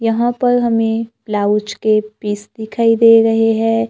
यहां पर हमें ब्लाउज के पीस दिखाई दे रहे है।